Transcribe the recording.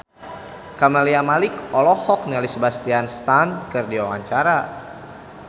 Camelia Malik olohok ningali Sebastian Stan keur diwawancara